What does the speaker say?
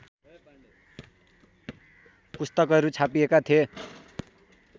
पुस्तकहरू छापिएका थिए